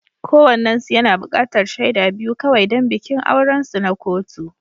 Kowannensu yana buƙatar shaidu biyu kawai don bikin aurensu na kotu.